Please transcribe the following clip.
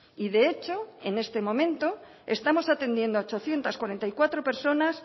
y de hecho en este momento estamos atendiendo a ochocientos cuarenta y cuatro personas